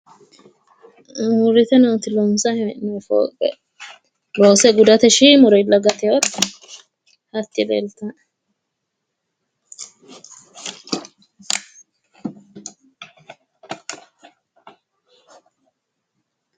Uurrite nooti loonsayi hee'noye fooqe loose gudate shiimurilla gateete hatti leeltanno.